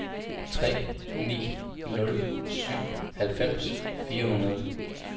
tre ni nul syv halvfems fire hundrede